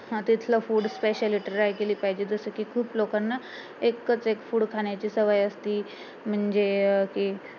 अं तिथलं food speciality try केली पाहिजे जसेकी खूप लोकांना एकच एक food खाण्याची सवय असती म्हणजे कि